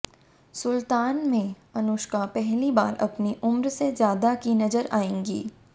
सुल्तान में अनुष्का पहली बार अपनी उम्र से ज्यादा की नजर आएंगी